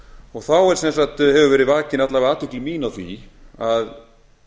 og þá hefur verið vakin alla vega athygli mín á því að